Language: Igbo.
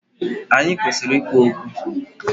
Anyị kwesịrị ikwu okwu